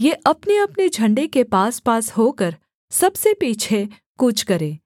ये अपनेअपने झण्डे के पासपास होकर सबसे पीछे कूच करें